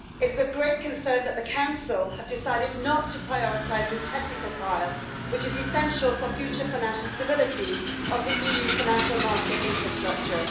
It is of great concern that the Council have decided not to prioritise this technical file, which is essential for the future financial stability of the EU financial market infrastructure.